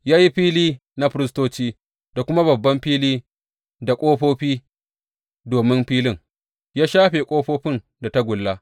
Ya yi fili na firistoci da kuma babban fili da ƙofofi domin filin, ya shafe ƙofofin da tagulla.